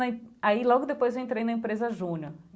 Aí, logo depois, eu entrei na empresa Júnior.